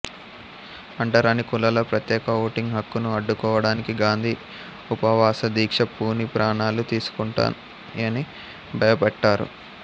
అంటరాని కులాల ప్రత్యేక ఓటింగ్ హక్కును అడ్డు కోవడానికి గాంధీ ఉపవాస దీక్ష పూని ప్రాణాలు తీసుకుంటానని భయ పెట్టారు